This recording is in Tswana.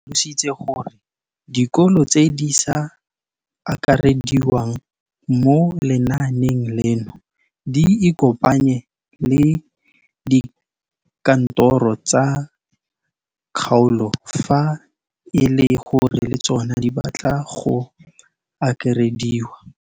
O tlhalositse gore dikolo tse di sa akarediwang mo lenaaneng leno di ikopanye le dikantoro tsa kgaolo fa e le gore le tsona di batla go akarediwa.